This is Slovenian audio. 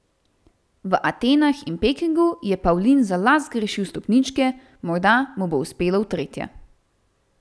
V Atenah in Pekingu je Pavlin za las zgrešil stopničke, morda mu bo uspelo v tretje.